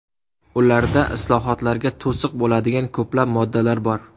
Ularda islohotlarga to‘siq bo‘ladigan ko‘plab moddalar bor.